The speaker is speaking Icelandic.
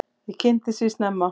Ég kynntist því snemma.